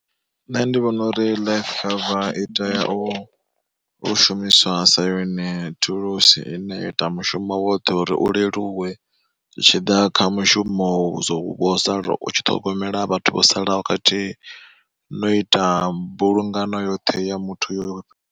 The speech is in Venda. Nṋe ndi vhona uri life cover i tea u u shumiswa sa yone thulusi ine ya ita mushumo woṱhe uri u leluwe, zwitshiḓa kha mushumo vho sala u tshi ṱhogomela vhathu vho salaho khathihi no ita mbulungano yoṱhe ya muthu yo.